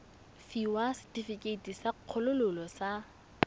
fiwa setefikeiti sa kgololo sa